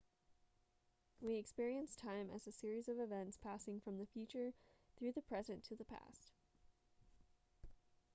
we experience time as a series of events passing from the future through the present to the past